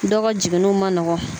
Dɔw ka jiginniw man nɔgɔn